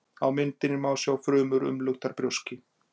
Á myndinni má sjá frumur umluktar brjóski.